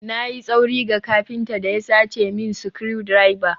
Na yi tsauri ga kafinta da ya sace min screwdriver?